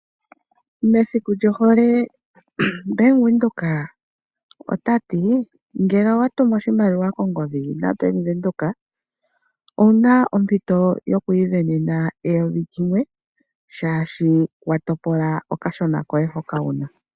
Mesiku lyohole Bank Windhoek otati ngele owa tumu oshimaliwa kongodhi owu na ompito yoku ivenena eyovi limwe shaashi wa topola okashona koye hoka wu na.